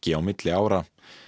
á milli ára